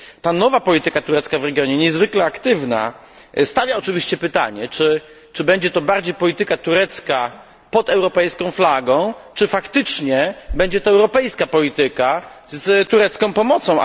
Ta nowa polityka turecka w regionie, niezwykle aktywna, stawia oczywiście pytanie, czy będzie to bardziej polityka turecka pod europejską flagą, czy faktycznie będzie to europejska polityka z turecką pomocą.